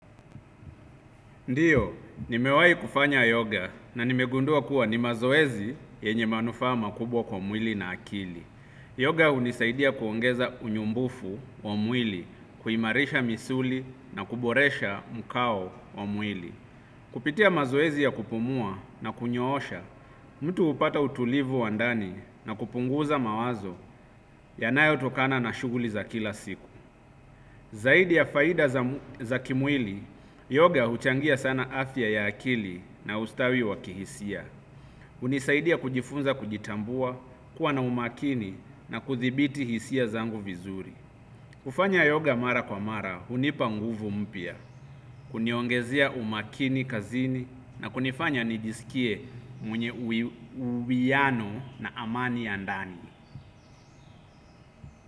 Ndiyo, nimewai kufanya yoga na nimegundua kuwa ni mazoezi yenye manufaa makubwa kwa mwili na akili. Yoga hunisaidia kuongeza unyumbufu wa mwili, kuimarisha misuli na kuboresha mkao wa mwili. Kupitia mazoezi ya kupumua na kunyoosha, mtu hupata utulivu wa ndani na kupunguza mawazo yanayotokana na shughuli za kila siku. Zaidi ya faida za kimwili, yoga huchangia sana afya ya akili na ustawi wa kihisia. Hunisaidia kujifunza kujitambua, kuwa na umakini na kuthibiti hisia zangu vizuri. Kufanya yoga mara kwa mara hunipa nguvu mpya huniongezea umakini kazini na kunifanya nijiskie mwenye uwiano na amani ya ndani.